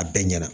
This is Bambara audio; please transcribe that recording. A bɛɛ ɲɛna